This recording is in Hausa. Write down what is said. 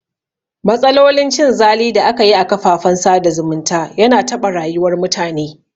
Matsalolin cin zali da aka yi a kafafen sada zumunta yana taɓa rayuwar mutane